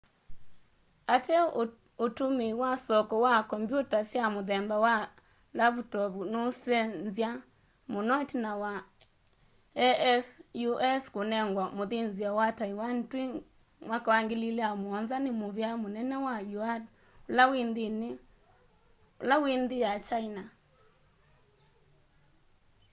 ateo utumíi wa soko wa kombyuta sya muthemba wa lavutovu nuusenzya muno itina wa asus kunengwa muthinzio wa taiwan twi 2007 ni muvía munene wa yuan ula wi nthi ya kyaina